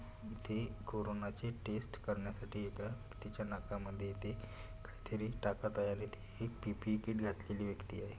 इथे कोरोनाची टेस्ट करण्यासाठी इथ तिच्या नाका मध्ये इथे काहीतरी टाकत आहे आणि पी_पी_ई किट घातलेली व्यक्ति आहे.